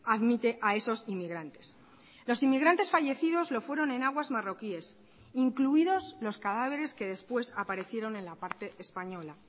admite a esos inmigrantes los inmigrantes fallecidos lo fueron en aguas marroquíes incluidos los cadáveres que después aparecieron en la parte española